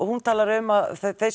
hún talar um að þau